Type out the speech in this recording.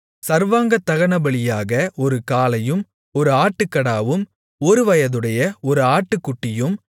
சர்வாங்கதகனபலியாக ஒரு காளையும் ஒரு ஆட்டுக்கடாவும் ஒருவயதுடைய ஒரு ஆட்டுக்குட்டியும்